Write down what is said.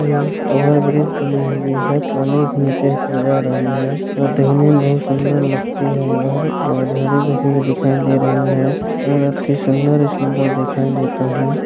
Over bridge बनी हुई है। पानी भी नीचे ऊपर जा रही है। अ देखने में बहुत सुन्दर लगती है इधर और हरी भरी भी दिखाई दे रही है और अति सुन्दर सुन्दर ही दिखाई देता है।